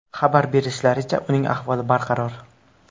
Xabar berishlaricha, uning ahvoli barqaror.